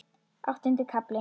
Áttundi kafli